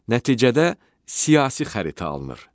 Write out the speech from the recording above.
Nəticədə siyasi xəritə alınır.